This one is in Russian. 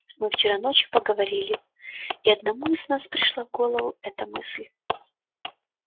мы вчера ночью поговорили и одному из нас пришла в голову эта мысль